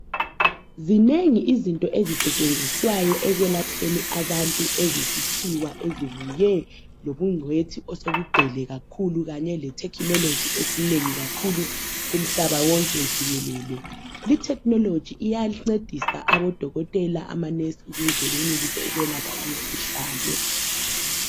Zinengi izinto ezisetshenziswayo ekwelapheni abantu ezesikhiwa ezifike lobugcwethi osebugcwele kakhulu kanye le thekhinoloji enengi kakhulu kumhlaba wonke jikelele. Li thekhinoloji iyancedisa odokotela, amanesi, ukuze benelise ukwelapha imikhuhlane.